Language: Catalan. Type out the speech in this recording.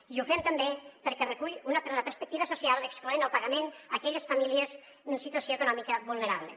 i ho fem també perquè recull una perspectiva social excloent del pagament aquelles famílies en situació econòmica vulnerable